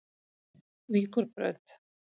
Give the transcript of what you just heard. Víkurbraut